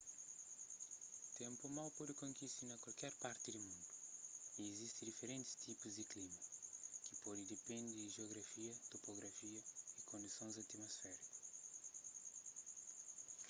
ténpu mau pode kontise na kualker parti di mundu y izisti diferentis tipus di klima ki pode depende di jiografia topografia y kondisons atumosfériku